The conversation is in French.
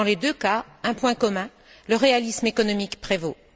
Dans les deux cas, un point commun le réalisme économique prévaut.